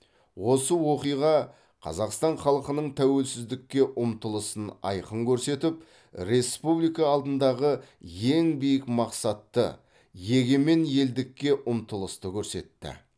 осы оқиға қазақстан халқының тәуелсіздікке ұмтылысын айқын көрсетіп республика алдындағы ең биік мақсатты егемен елдікке ұмтылысты көрсетті